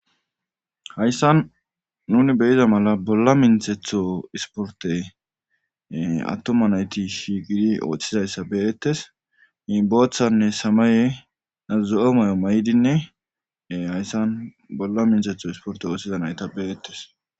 Hayssan nuni beyiza mala bolla minthetho isporte attoma nayti shi gidi ooththizayssa beyettes i booththanne samaye azo'o mayo may'dinnee hayssan bolla minthetho isporte ooththiza nayta beyettes.